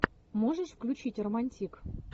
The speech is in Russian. можешь включить романтик